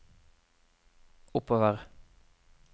oppover